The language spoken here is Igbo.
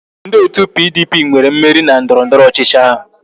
Ndị otu PDP nwere mmeri na ndọrọndọrọ ọchịchị ahụ